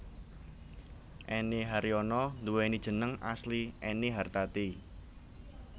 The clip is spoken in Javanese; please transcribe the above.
Enny Haryono nduwéni jeneng asli Ennie Hartati